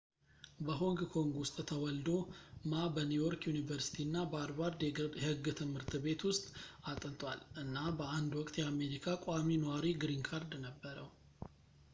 በሆንግ ኮንግ ውስጥ ተወልዶ ማ በኒውዮርክ ዩኒቨርሲቲ እና በሀርቫርድ የህግ ትምህርት ቤት ውስጥ አጥንቷል እና በአንድ ውቅት የአሜሪካ ቋሚ ኗሪ ግሪን ካርድ ነበረው